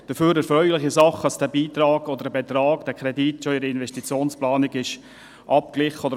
Dafür ist es eine erfreuliche Sache, dass dieser Kreditbetrag bereits in der Investitionsplanung vorhanden war.